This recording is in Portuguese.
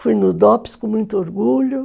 Fui no dopis com muito orgulho.